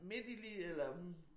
Midt i lige eller hm